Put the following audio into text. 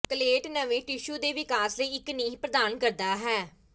ਕਲੇਟ ਨਵੇਂ ਟਿਸ਼ੂ ਦੇ ਵਿਕਾਸ ਲਈ ਇੱਕ ਨੀਂਹ ਪ੍ਰਦਾਨ ਕਰਦਾ ਹੈ